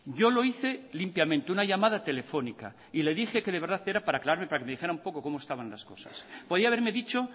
yo lo hice limpiamente una llamada telefónica y le dije que de verdad era para aclararme para que me dijera un poco cómo estaban las cosas podía haberme dicho